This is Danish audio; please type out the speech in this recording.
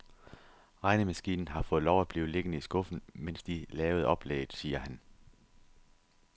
Regnemaskinen har fået lov at blive liggende i skuffen, mens de lavede oplægget, siger han.